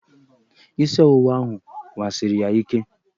Isị ọwụwa ahụ wasiri ya ike.